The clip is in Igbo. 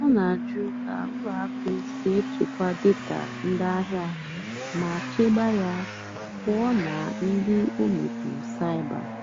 ọ́ nà-àjụ́ kà ùlọ àkụ́ sí èchékwá dátà ndí àhìá mà chèbé yá pụ́ọ́ nà ndí ómémpụ́ cybér.